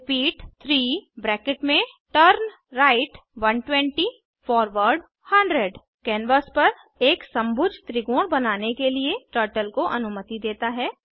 repeat 3turnright 120 forward 100 canvas पर एक समभुज त्रिकोण बनाने के लिए टर्टल को अनुमति देता है